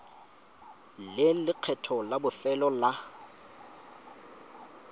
le lekgetho la bofelo la